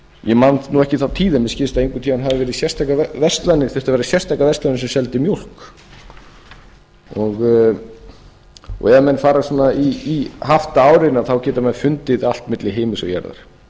ég man nú ekki þá tíð en mér skilst að einhvern tíma hafi verið sérstakar verslanir þurftu að vera sérstakar verslanir sem seldu mjólk ef menn fara í haftaárin geta menn fundið allt milli himins og jarðar